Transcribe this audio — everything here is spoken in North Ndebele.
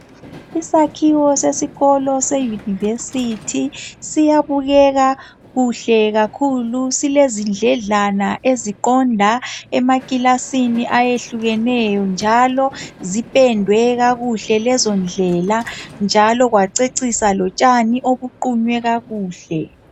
Isakhiwo sesikolo seyunivesithi siyabukeka kuhle kakhulu. Silezindledlana eziqonda emakilasini ayehlukeneyo njalo zipendwe kakuhle lezondlela njalo kwacecisa lotshani obuqunywe kakuhle.